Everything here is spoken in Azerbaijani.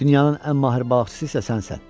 Dünyanın ən mahir balıqçısı isə sənsən.